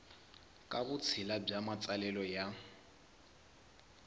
ka vutshila bya matsalelo ya